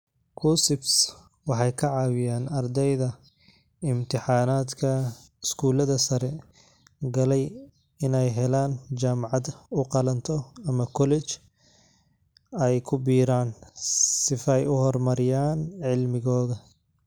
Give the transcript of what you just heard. KUCCPS waxay ka caawiyaan ardayda imtixaanadka iskuulada sare. Galay inay helaa jamcad u qalanto ama college ay ku biiraan sifay u hor mariyaan cilmigoga.